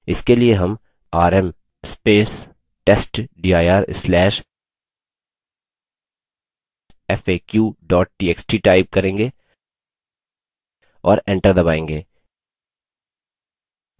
इसके लिए हम $rm testdir/faq txt type करेंगे और एंटर दबायेंगे